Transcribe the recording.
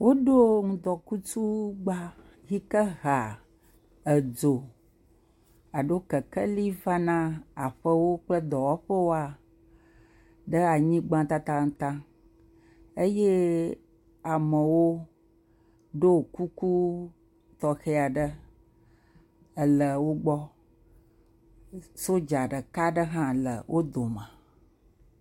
Woɖo ŋdɔkutsugba yi ke hea edzo alo kekeli vana aƒewo kple dɔwɔƒewo ɖe anyigba tatataŋ eye amewo ɖo kuku tɔxe aɖe ele wo gbɔ. Sodza ɖeka aɖe hã ele wo dome.